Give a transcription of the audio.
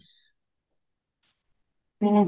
ਹਮ